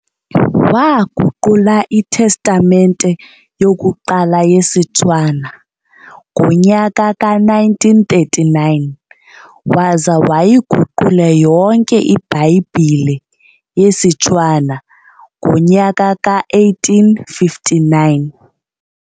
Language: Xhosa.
Waaguqula iTestamente yokuqala yesiTshwana ngonyaka ka-1939, waza wayiguqula yonke ibhayibhile yesiTshwana ngonyaka ka-1859.